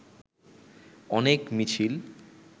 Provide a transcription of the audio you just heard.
অনেক মিছিল